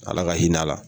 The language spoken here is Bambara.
Ala ka hinɛ a la